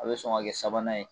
A be sɔn ka kɛ sabanan ye